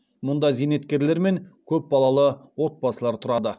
мұнда зейнеткерлер мен көпбалалы отбасылар тұрады